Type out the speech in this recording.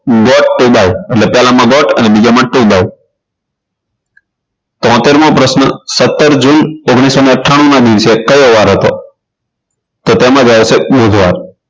But to by એટલે પેલામાં but અને બીજામાં to by તોતેર મો પ્રશ્ન સત્તર જૂન ઓગણીસો ને અઠાણુંમાં દિવસે કયો વાર હતો તો તેમાં જવાબ આવશે બુધવાર